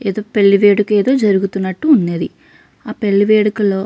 ఏదో పెళ్లి వేడుక ఏదో జరుగుతున్నట్టు ఉన్నది ఆ పెళ్లి వేడుకలో --